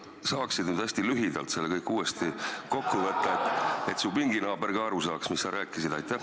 Kas sa saaksid nüüd hästi lühidalt selle kõik uuesti kokku võtta, et su pinginaaber ka aru saaks, mis sa rääkisid?